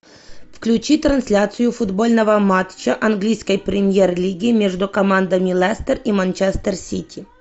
включи трансляцию футбольного матча английской премьер лиги между командами лестер и манчестер сити